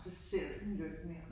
Så ser du den jo ikke mere